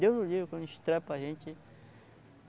Deus nos livre quando estrepa a gente.